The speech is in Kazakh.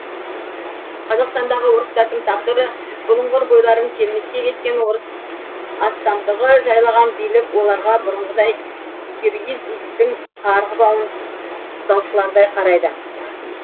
қазақстандағы орыстардың тағдыры бұлыңғыр бойларын келмеске кеткен орыс астамдығы жайлаған билік оларға бұрынғыдай киргиз иттің қарғыбауын ұстаушылардай қарайды